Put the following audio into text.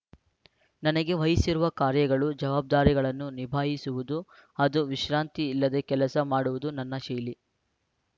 ನನಗೆ ವಹಿಸಿರುವ ಕಾರ್ಯಗಳು ಜವಾಬ್ದಾರಿಗಳನ್ನು ನಿಭಾಯಿಸುವುದು ಅದು ವಿಶ್ರಾಂತಿ ಇಲ್ಲದೆ ಕೆಲಸ ಮಾಡುವುದು ನನ್ನ ಶೈಲಿ